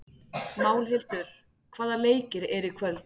Málhildur, hvaða leikir eru í kvöld?